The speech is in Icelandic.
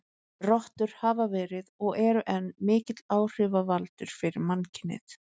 Rottur hafa verið, og eru enn, mikill áhrifavaldur fyrir mannkynið.